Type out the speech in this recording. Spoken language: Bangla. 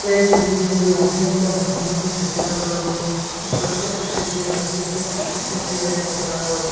এই ছবিটির মধ্যে অনেকগুলা নতুন নতুন সাইকেল রাখানো রয়েসে এই প্রত্যেকটা সাইকেল নৎ একেকটা একেক ডিজাইনের মতো রাখা হয়েছে।